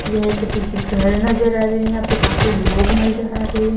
यह एक टिकट घर नजर आ रहे हैं यहां पे काफी लोग नजर आ रहे हैं।